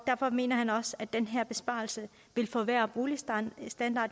derfor mener han også at den her besparelse vil forværre boligstandarden